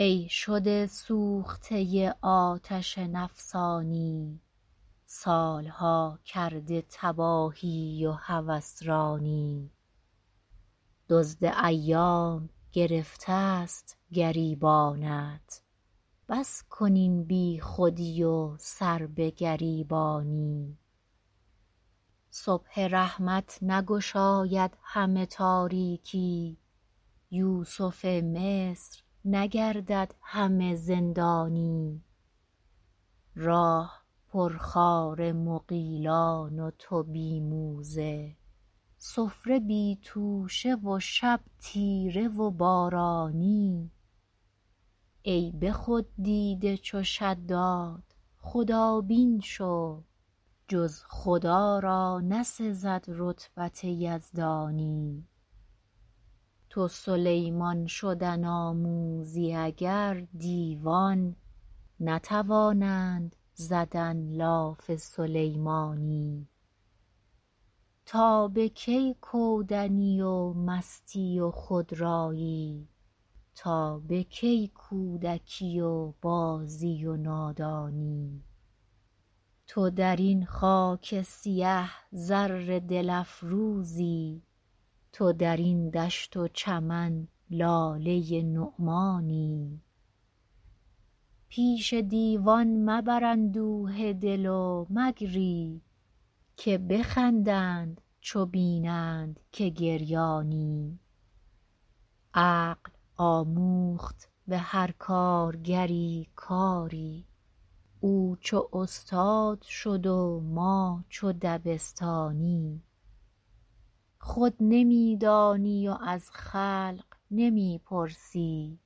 ای شده سوخته آتش نفسانی سال ها کرده تباهی و هوس رانی دزد ایام گرفت ست گریبانت بس کن این بی خودی و سربه گریبانی صبح رحمت نگشاید همه تاریکی یوسف مصر نگردد همه زندانی راه پر خار مغیلان و تو بی موزه سفره بی توشه و شب تیره و بارانی ای به خود دیده چو شداد خدابین شو جز خدا را نسزد رتبت یزدانی تو سلیمان شدن آموزی اگر دیوان نتوانند زدن لاف سلیمانی تا به کی کودنی و مستی و خودرأیی تا به کی کودکی و بازی و نادانی تو در این خاک سیه زر دل افروزی تو در این دشت و چمن لاله نعمانی پیش دیوان مبر اندوه دل و مگری که بخندند چو بینند که گریانی عقل آموخت به هر کارگری کاری او چو استاد شد و ما چو دبستانی خود نمی دانی و از خلق نمی پرسی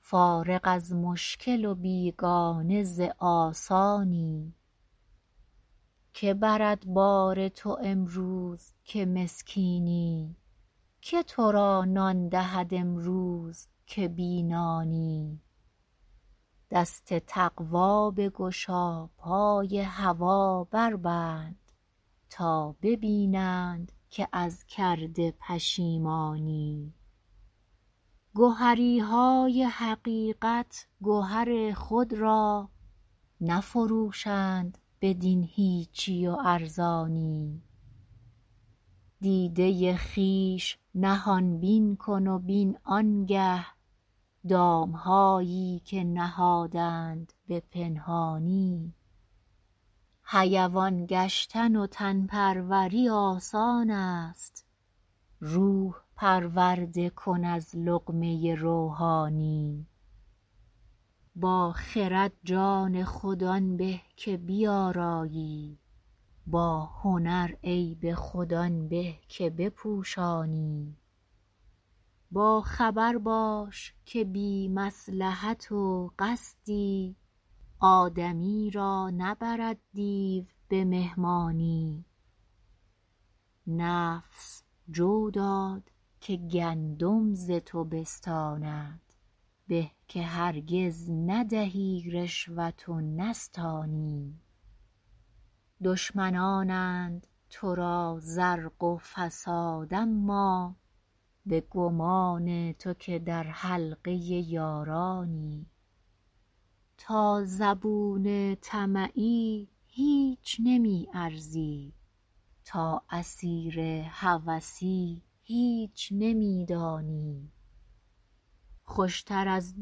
فارغ از مشکل و بیگانه ز آسانی که برد بار تو امروز که مسکینی که تو را نان دهد امروز که بی نانی دست تقوی بگشا پای هوا بربند تا ببینند که از کرده پشیمانی گهری های حقیقت گهر خود را نفروشند بدین هیچی و ارزانی دیده خویش نهان بین کن و بین آن گه دام هایی که نهادند به پنهانی حیوان گشتن و تن پروری آسان است روح پرورده کن از لقمه روحانی با خرد جان خود آن به که بیآرایی با هنر عیب خود آن به که بپوشانی با خبر باش که بی مصلحت و قصدی آدمی را نبرد دیو به مهمانی نفس جو داد که گندم ز تو بستاند به که هرگز ندهی رشوت و نستانی دشمنانند تو را زرق و فساد اما به گمان تو که در حلقه یارانی تا زبون طمعی هیچ نمی ارزی تا اسیر هوسی هیچ نمی دانی خوش تر از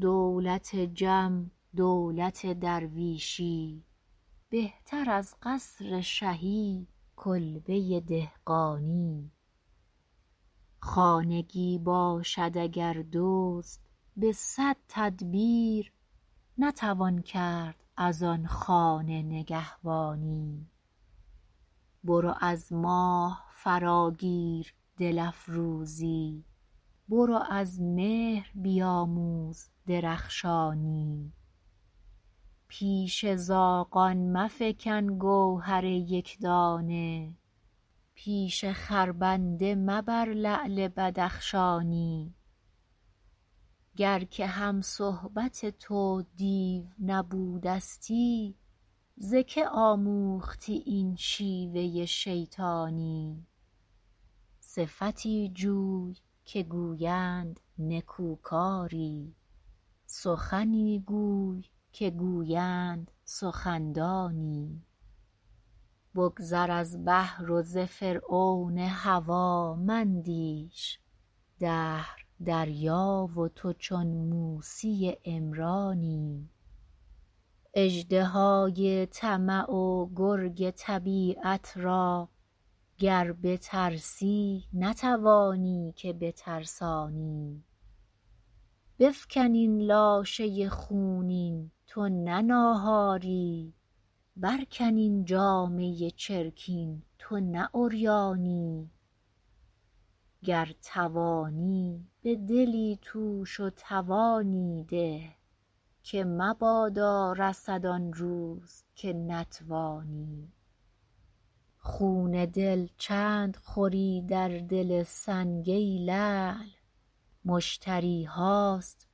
دولت جم دولت درویشی بهتر از قصر شهی کلبه دهقانی خانگی باشد اگر دزد به صد تدبیر نتوان کرد از آن خانه نگهبانی برو از ماه فراگیر دل افروزی برو از مهر بیاموز درخشانی پیش زاغان مفکن گوهر یک دانه پیش خربنده مبر لعل بدخشانی گر که هم صحبت تو دیو نبودستی ز که آموختی این شیوه شیطانی صفتی جوی که گویند نکوکاری سخنی گوی که گویند سخن دانی بگذر از بحر و ز فرعون هوا مندیش دهر دریا و تو چون موسی عمرانی اژدهای طمع و گرگ طبیعت را گر بترسی نتوانی که بترسانی بفکن این لاشه خونین تو نه ناهاری برکن این جامه چرکین تو نه عریانی گر توانی به دلی توش و توانی ده که مبادا رسد آن روز که نتوانی خون دل چند خوری در دل سنگ ای لعل مشتری هاست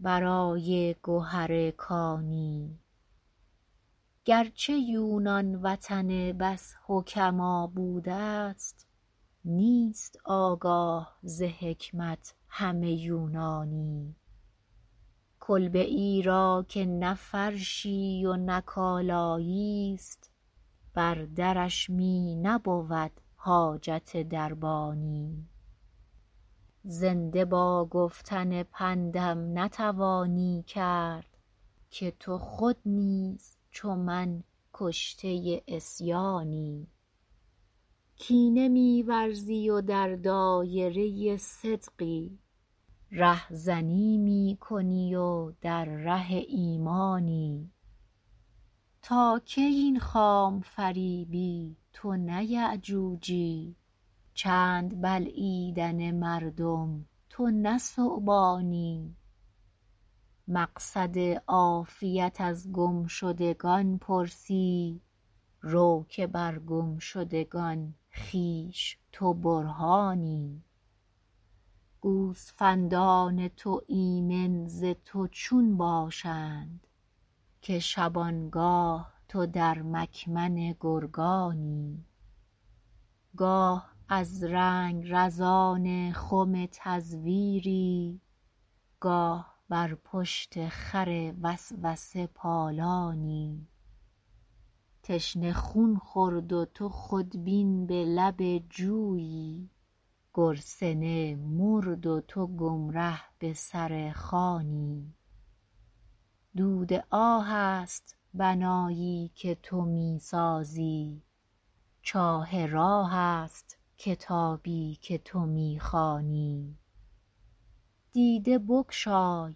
برای گهر کانی گر چه یونان وطن بس حکما بودست نیست آگاه ز حکمت همه یونانی کلبه ای را که نه فرشی و نه کالایی ست بر درش می نبود حاجت دربانی زنده با گفتن پندم نتوانی کرد که تو خود نیز چو من کشته عصیانی کینه می ورزی و در دایره صدقی رهزنی می کنی و در ره ایمانی تا کی این خام فریبی تو نه یأجوجی چند بلعیدن مردم تو نه ثعبانی مقصد عافیت از گم شدگان پرسی رو که بر گم شدگان خویش تو برهانی گوسفندان تو ایمن ز تو چون باشند که شبانگاه تو در مکمن گرگانی گاه از رنگرزان خم تزویری گاه بر پشت خر وسوسه پالانی تشنه خون خورد و تو خودبین به لب جویی گرسنه مرد و تو گمره به سر خوانی دود آه است بنایی که تو می سازی چاه راه است کتابی که تو می خوانی دیده بگشای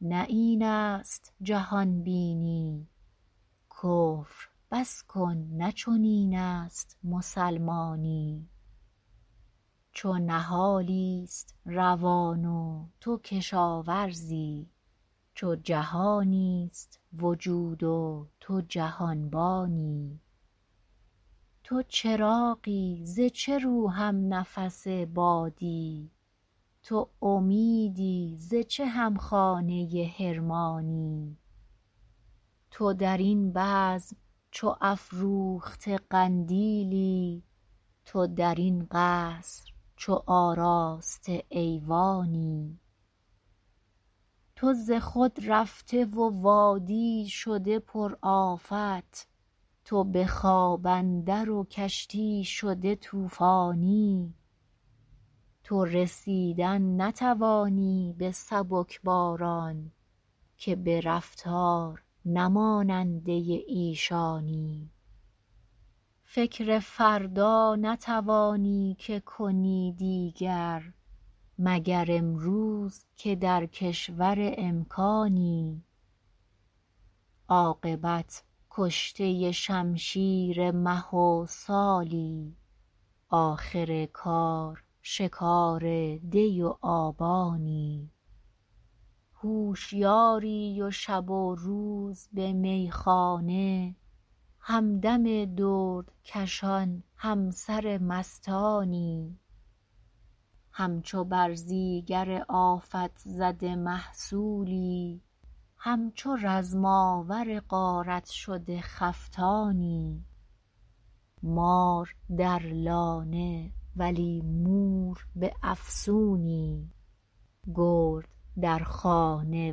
نه این است جهان بینی کفر بس کن نه چنین است مسلمانی چو نهالی ست روان و تو کشاورزی چو جهانی ست وجود و تو جهانبانی تو چراغی ز چه رو هم نفس بادی تو امیدی ز چه هم خانه حرمانی تو در این بزم چو افروخته قندیلی تو در این قصر چو آراسته ایوانی تو ز خود رفته و وادی شده پر آفت تو به خواب اندر و کشتی شده طوفانی تو رسیدن نتوانی به سبک باران که به رفتار نه ماننده ایشانی فکر فردا نتوانی که کنی دیگر مگر امروز که در کشور امکانی عاقبت کشته شمشیر مه و سالی آخر کار شکار دی و آبانی هوشیاری و شب و روز به میخانه همدم دردکشان همسر مستانی همچو برزیگر آفت زده محصولی همچو رزم آور غارت شده خفتانی مار در لانه ولی مور به افسونی گرد در خانه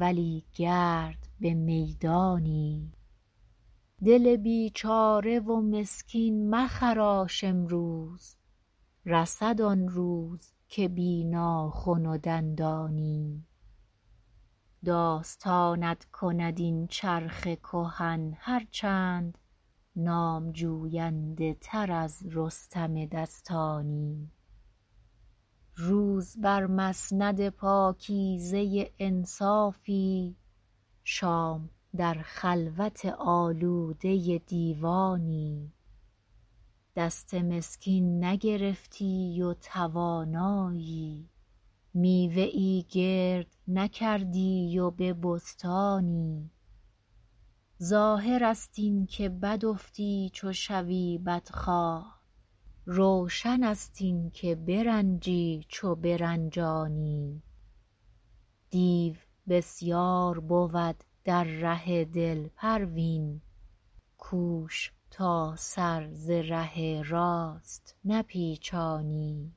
ولی گرد به میدانی دل بیچاره و مسکین مخراش امروز رسد آنروز که بی ناخن و دندانی داستانت کند این چرخ کهن هر چند نام جوینده تر از رستم دستانی روز بر مسند پاکیزه انصافی شام در خلوت آلوده دیوانی دست مسکین نگرفتی و توانایی میوه ای گرد نکردی و به بستانی ظاهرست این که بد افتی چو شوی بدخواه روشن ست این که برنجی چو برنجانی دیو بسیار بود در ره دل پروین کوش تا سر ز ره راست نپیچانی